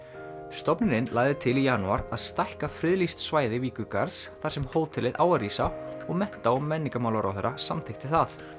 stofnunin lagði til í janúar að stækka friðlýst svæði þar sem hótelið á að rísa og mennta og menningarmálaráðherra samþykkti það